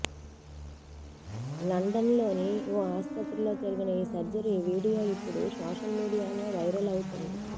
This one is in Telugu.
లండన్లోని ఓ ఆస్పత్రిలో జరిగిన ఈ సర్జరీ వీడియో ఇప్పుడు సోషల్ మీడియాలో వైరల్ అవుతోంది